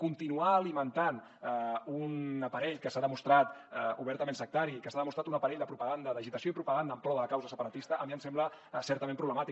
continuar alimentant un aparell que s’ha demostrat obertament sectari i que s’ha demostrat un aparell de propaganda d’agitació i propaganda en pro de la causa separatista a mi em sembla certament problemàtic